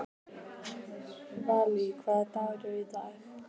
Valý, hvaða dagur er í dag?